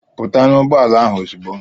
Pụta n'ụgbọala ahụ ozugbo!